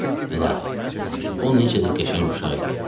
İlahi, o necə də qəşəng uşaq idi.